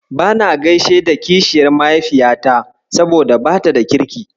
Bana gaishe da kishiyar mahaifiyata, saboda bata da kirki.